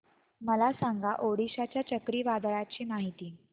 मला सांगा ओडिशा च्या चक्रीवादळाची माहिती